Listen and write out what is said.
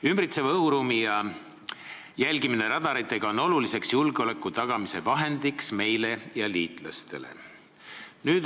Ümbritseva õhuruumi radaritega jälgimine on oluline julgeoleku tagamise vahend meile ja liitlastele.